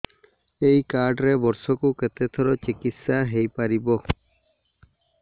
ଏଇ କାର୍ଡ ରେ ବର୍ଷକୁ କେତେ ଥର ଚିକିତ୍ସା ହେଇପାରିବ